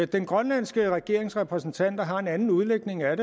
den grønlandske regerings repræsentanter har en anden udlægning af